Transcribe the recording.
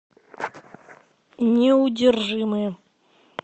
неудержимые